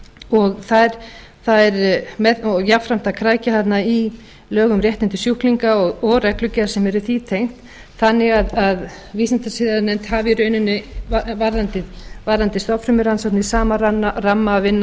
og jafnframt að krækja þarna í lög um réttindi sjúklinga og reglugerð sem er því tengt þannig að vísindasiðanefnd hafi í rauninni varðandi stofnfrumurannsóknir sama ramma að vinna